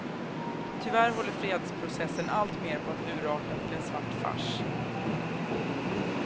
Tyvärr håller fredsprocessen alltmer på att urarta till en svart fars.